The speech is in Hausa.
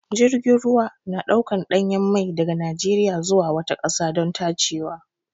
Jirgin ruwa na ɗaukan ɗanyen mai daga Najeriya zuwa wata ƙasa don tacewa.